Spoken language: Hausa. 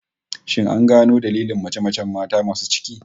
Shin an gano dailin mace-macen mata masu cikin?